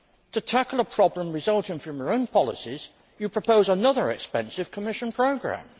To tackle a problem resulting from its own policies, the EU is proposing another expensive Commission programme.